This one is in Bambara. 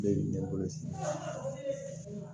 Ne bɛ ɲɛbɔ sisan